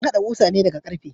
An hada kusa ne daga karfe.